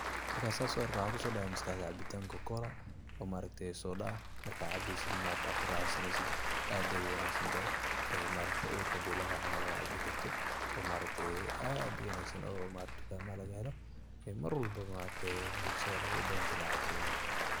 Mrkan saas uarke maskaxdeyda waxa kusodacay cabitanka Coke' cola oo maaragte soda ah marka cabeysana ad kuraxaysaneysid aad ayey uwanagsantahay maaragte urka hadi lagahayo camal ucabikarto oo aad uwanagsan oo tukamaha lagahelo oo marwalba maaragte bulshada ubadan in ey cabto.